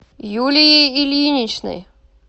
юлией ильиничной